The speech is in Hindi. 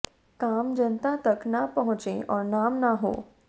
काम जनता तक ना पहुंचे और नाम ना हो